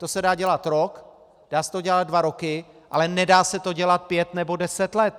To se dá dělat rok, dá se to dělat dva roky, ale nedá se to dělat pět nebo deset let.